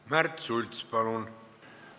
Märt Sults, palun!